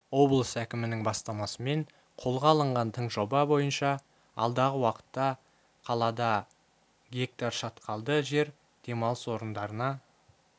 облыс әкімінің бастамасымен қолға алынған тың жоба бойынша алдағы уақытта қалада гектар шатқалды жер демалыс орындарына